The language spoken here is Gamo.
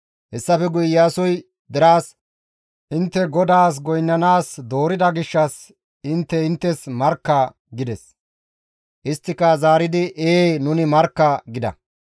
Hessafe guye Iyaasoy deraas, «Intte GODAAS goynnanaas doorida gishshas intte hu7es intte markka» gides. Isttika zaaridi, «Ee nuni markka!» gida.